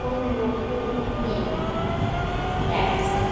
কোনো লোক নেই রাইডসে ।